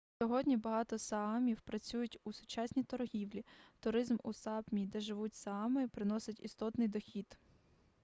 сьогодні багато саамів працюють у сучасній торгівлі туризм у сапмі де живуть саами приносить істотний дохід